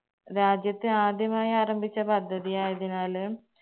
രാജ്യത്തെ ആദ്യമായി ആരംഭിച്ച പദ്ധതി ആയതിനാല്